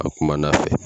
A bɛ kumana a fɛ